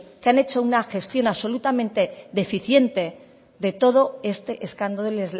que han hecho una gestión absolutamente deficiente de todo este escándalo